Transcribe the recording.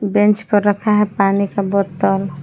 Bench पर रखा है पानी का बोतल ।